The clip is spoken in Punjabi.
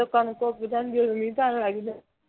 ਜਦੋਂ ਕਣਕ ਉਗ ਜਾਂਦੀ ਹੈ ਮੀਂਹ ਪੈਣ ਲੱਗ ਜਾਂਦਾ ਹੈ